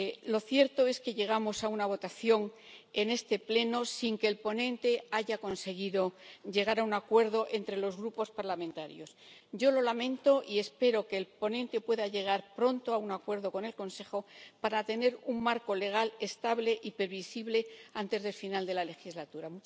Lo cierto es que llegamos a una votación en este Pleno sin que el ponente haya conseguido llegar a un acuerdo entre los grupos parlamentarios. Yo lo lamento y espero que el ponente pueda llegar pronto a un acuerdo con el Consejo para tener un marco legal estable y previsible antes del final de la legislatura.